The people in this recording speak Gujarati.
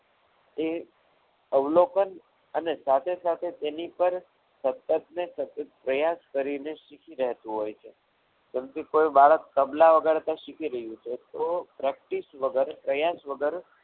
એ અવલોકન અને એની સાથે સાથે તેની પર સતત ને સતત પ્રયાસ કરીને શીખી રહેતું હોય છે. સમજો કે કોઈ બાળક તબલા વગાડતા શીખી રહ્યું છે. તો practice વગર પ્રયાસ વગર